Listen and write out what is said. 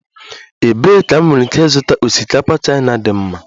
Ebee ka m nwere ike ịzụta osikapa Chaina dị mma?